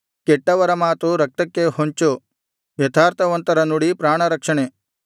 ಕೆಟ್ಟವರ ಮಾತು ರಕ್ತಕ್ಕೆ ಹೊಂಚು ಯಥಾರ್ಥವಂತರ ನುಡಿ ಪ್ರಾಣರಕ್ಷಣೆ